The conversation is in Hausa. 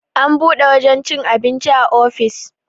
an buɗe wajen cin abinci a ofis